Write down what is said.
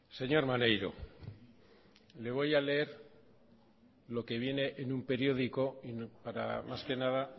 señor maneiro le voy a leer lo que viene en un periódico para más que nada